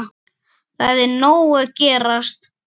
Það er nóg að gerast.